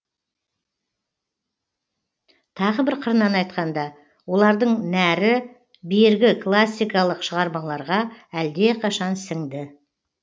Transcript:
тағы бір қырынан айтқанда олардың нәрі бергі классикалық шығармаларға әлдеқашан сіңді